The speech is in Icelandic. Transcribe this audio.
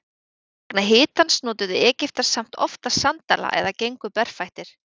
Vegna hitans notuðu Egyptar samt oftast sandala eða gengu berfættir.